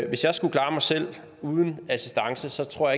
hvis jeg skulle klare mig selv uden assistance tror